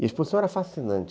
E a exposição era fascinante.